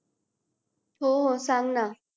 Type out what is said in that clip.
हो हो सांग ना